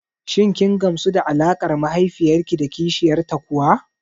Shin kin gamsu da alaƙar mahaifiyar ki da kishiyar ta kuwa?